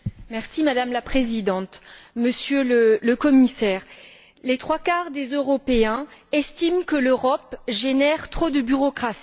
Madame la Présidente, Monsieur le Commissaire, les trois quarts des Européens estiment que l'Europe génère trop de bureaucratie.